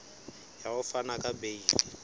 ya ho fana ka beile